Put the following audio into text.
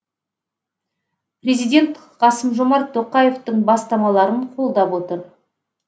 президент қасым жомарт тоқаевтың бастамаларын қолдап отыр